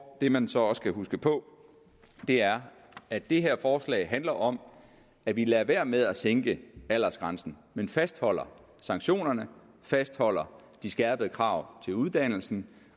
det man så også skal huske på er at det her forslag handler om at vi lader være med at sænke aldersgrænsen men fastholder sanktionerne fastholder de skærpede krav til uddannelsen